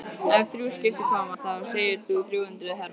Ef þrjú skip koma þá segir það þrjú hundruð hermenn.